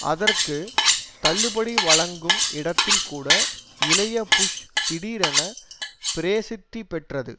அதற்கு தள்ளுபடி வழங்கும் இடத்தில் கூட இளைய புஷ் திடீரென பிரேசித்தி பெற்றது